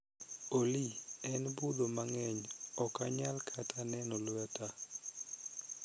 olly en mudho mang'eny okanyal kata neno lweta